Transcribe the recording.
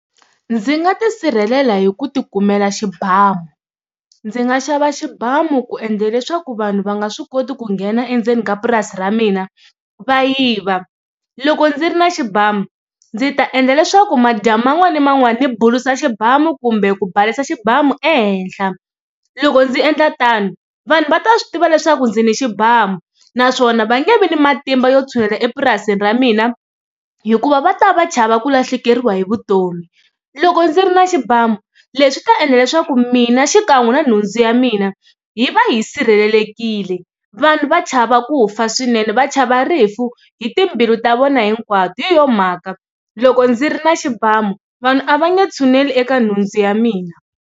Ndzi nga tisirhelela hi ku ti kumela xibamu, ndzi nga xava xibamu ku endla leswaku vanhu va nga swi koti ku nghena endzeni ka purasi ra mina va yiva. Loko ndzi ri na xibamu ndzi ta endla leswaku madyambu man'wani na man'wani ni bulusa xibamu kumbe ku balesa xibamu ehenhla, loko ndzi endla tano vanhu va ta swi tiva leswaku ndzi ni xibamu naswona va nge vi ni matimba yo tshulela epurasini ra mina hikuva va ta va chava ku lahlekeriwa hi vutomi. Loko ndzi ri na xibamu leswi ta endla leswaku mina xikan'we na nhundzu ya mina hi va hi sirhelelekile, vanhu va chava ku fa swinene va chava rifu hi timbilu ta vona hinkwato hi yona mhaka loko ndzi ri na xibamu vanhu a va nge tshuneli eka nhundzu ya mina.